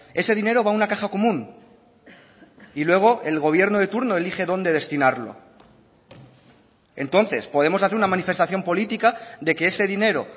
ese dinero va a una caja común y luego el gobierno de turno elige dónde destinarlo entonces podemos hacer una manifestación política de que ese dinero